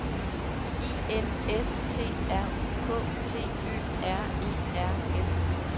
I N S T R U K T Ø R E R S